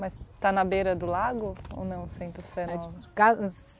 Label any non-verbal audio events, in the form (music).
Mas está na beira do lago ou não, Centro-Sé? (unintelligible)